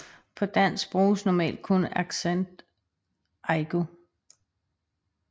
På dansk bruges normalt kun accent aigu